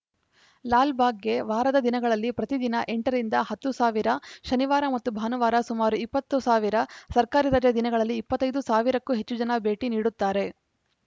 ಲಾಲ್‌ಬಾಗ್‌ಗೆ ವಾರದ ದಿನಗಳಲ್ಲಿ ಪ್ರತಿದಿನ ಎಂಟ ರಿಂದ ಹತ್ತು ಸಾವಿರ ಶನಿವಾರ ಮತ್ತು ಭಾನುವಾರ ಸುಮಾರು ಇಪ್ಪತ್ತು ಸಾವಿರ ಸರ್ಕಾರಿ ರಜೆ ದಿನಗಳಲ್ಲಿ ಇಪ್ಪತ್ತ್ ಐದು ಸಾವಿರಕ್ಕೂ ಹೆಚ್ಚು ಜನ ಭೇಟಿ ನೀಡುತ್ತಾರೆ